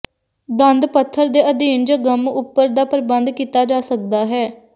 ਦੰਦ ਪੱਥਰ ਦੇ ਅਧੀਨ ਜ ਗੰਮ ਉਪਰ ਦਾ ਪ੍ਰਬੰਧ ਕੀਤਾ ਜਾ ਸਕਦਾ ਹੈ